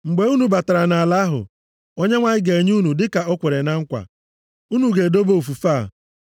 Mgbe unu batara nʼala ahụ Onyenwe anyị ga-enye unu dịka o kwere na nkwa, unu ga-edobe ofufe + 12:25 Ofufe nʼebe ana-ekwu banyere mmemme ahụ. a.